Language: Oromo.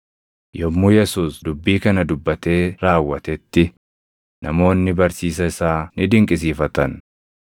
Yommuu Yesuus dubbii kana dubbatee raawwatetti namoonni barsiisa isaa ni dinqisiifatan;